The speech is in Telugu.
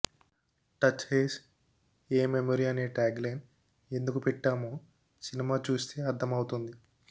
టచ్ హేస్ ఎ మెమరీ అనే ట్యాగ్ లైన్ ఎందుకు పెట్టామో సినిమా చూస్తే అర్థమవుతుంది